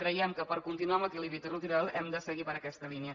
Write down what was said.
creiem que per continuar amb l’equilibri territorial hem de seguir per aquesta línia